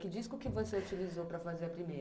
Que disco que você utilizou para fazer a primeira?